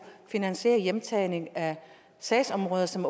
finansiere hjemtagning af sagsområder som